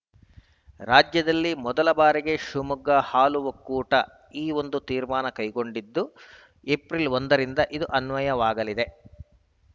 ರಾಜ್ಯದಲ್ಲಿ ಮೊದಲ ಬಾರಿಗೆ ಶಿವಮೊಗ್ಗ ಹಾಲು ಒಕ್ಕೂಟ ಈ ಒಂದು ತೀರ್ಮಾನ ಕೈಗೊಂಡಿದ್ದು ಏಪ್ರಿಲ್‌ ಒಂದ ರಿಂದ ಇದು ಅನ್ವಯವಾಗಲಿದೆ